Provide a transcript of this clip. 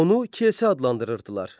Onu kilsə adlandırırdılar.